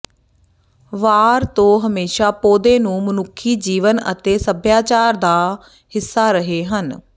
ਵਾਰ ਤੋ ਹਮੇਸ਼ਾ ਪੌਦੇ ਨੂੰ ਮਨੁੱਖੀ ਜੀਵਨ ਅਤੇ ਸਭਿਆਚਾਰ ਦਾ ਹਿੱਸਾ ਰਹੇ ਹਨ